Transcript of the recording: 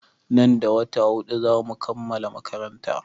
Nan da wata huɗu za mu kammala makaranta.